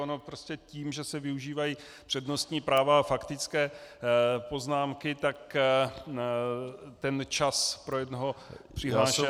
Ono prostě tím, že se využívají přednostní práva a faktické poznámky, tak ten čas pro jednoho přihlášeného -